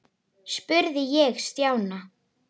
spurði ég Stjána.